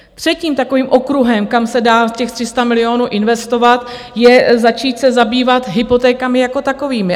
Třetím takovým okruhem, kam se dá těch 300 milionů investovat, je začít se zabývat hypotékami jako takovými.